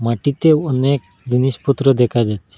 মাটিতে অনেক জিনিসপত্র দেখা যাচ্ছে।